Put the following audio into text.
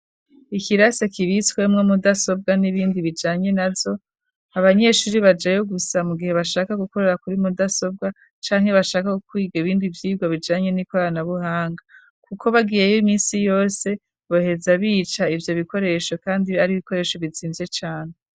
Ikirasi kibitswemwo mudasobwa n'ibindi bijanye navyo, abanyeshuri bajayo gusa mu gihe bashaka gukorera kuri mudasobwa canke bashaka kwiga ibindi vyigwa bijanye n'ikoranabuhanga, kuko bagiyeyo iminsi yose boheza bica ivyo bikoresho kandi ari ibikoresho bizimvye cane.